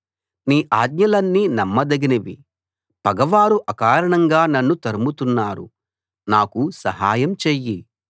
నీ ఆజ్ఞలన్నీ నమ్మదగినవి పగవారు అకారణంగా నన్ను తరుముతున్నారు నాకు సహాయం చెయ్యి